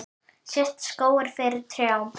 Sést skógur fyrir trjám?